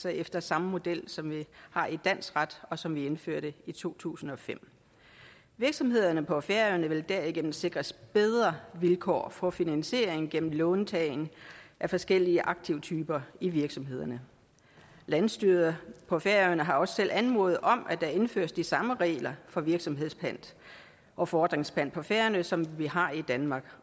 efter samme model som vi har i dansk ret og som vi indførte i to tusind og fem virksomhederne på færøerne vil derigennem sikres bedre vilkår for finansiering gennem låntagning af forskellige aktivtyper i virksomhederne landsstyret på færøerne har også selv anmodet om at der indføres de samme regler for virksomhedspant og fordringspant på færøerne som vi har i danmark